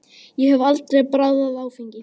Ég hef aldrei bragðað áfengi.